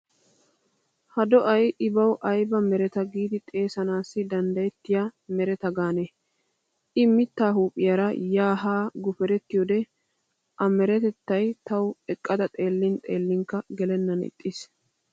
Ha do'ay ibawu ayba mereta giidi xeesanaassi danddyettiya mereta gaane. I mittaa huuphphiyaara yaa haa guperettiyoode a merettay tawu eqqada xeellin xeellinkka gelennan ixxiis.